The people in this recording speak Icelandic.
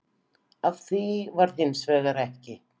Af því varð hins vegar ekki